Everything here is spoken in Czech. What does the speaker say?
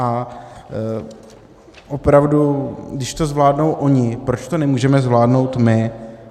A opravdu když to zvládnou oni, proč to nemůžeme zvládnout my?